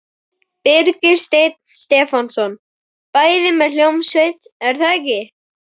Birgir Steinn Stefánsson: Bæði með hljómsveit er það ekki?